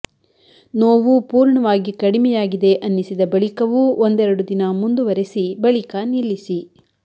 ನೋವು ಪೂರ್ಣವಾಗಿ ಕಡಿಮೆಯಾಗಿದೆ ಅನ್ನಿಸಿದ ಬಳಿಕವೂ ಒಂದೆರಡು ದಿನ ಮುಂದುವರೆಸಿ ಬಳಿಕ ನಿಲ್ಲಿಸಿ